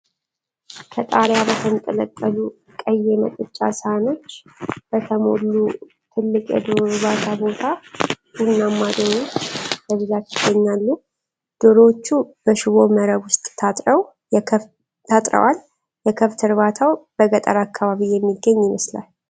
ከጣሪያ በተንጠለጠሉ ቀይ የመጠጫ ሳህኖች በተሞላ ትልቅ የዶሮ እርባታ ቦታ ቡናማ ዶሮዎች በብዛት ይገኛሉ። ዶሮዎቹ በሽቦ መረብ ውስጥ ታጥረዋል። የከብት እርባታው በገጠር አካባቢ የሚገኝ ይመስላል።